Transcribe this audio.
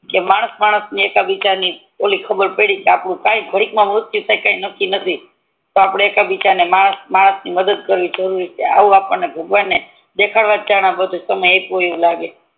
કે માણસ માણસ ને એક બીજા ની ખબર પડી ઓલિ કે આપનું કય ગાદીક મા મૃત્યુ થી જય આપનું કઈ નક્કી નય તો એક બીજા ની માણસ માણસ ને મદદ કરવી આવું આપડને ભગવાને દેખાડવા સમય બતાવ્યો હોઈ તેવું લાગે